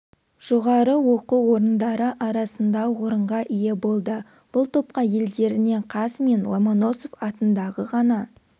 жоғары оқу орындары арасында орынға ие болды бұл топқа елдерінен қаз мен ломоносов атындағы ғана